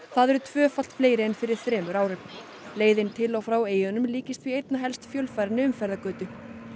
það eru tvöfalt fleiri en fyrir þremur árum leiðin til og frá eyjunum líkist því einna helst fjölfarinni umferðargötu